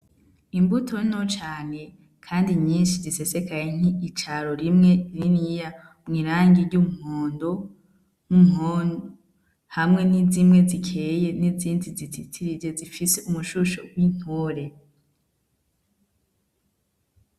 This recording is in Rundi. Imbuto nto cane kandi nyinshi zisesekaye nk'icaro rimwe niniya mw'irangi ry'umuhondo n'inkondo hamwe n'izimwe zikeye n'izindi zizitirije zifise umushusho w'intore.